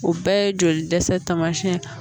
O bɛɛ ye joli dɛsɛ tamasiyɛn ta